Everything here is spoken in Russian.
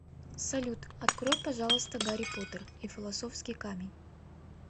салют открой пожалуйста гарри поттер и филосовский камень